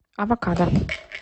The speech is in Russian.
авокадо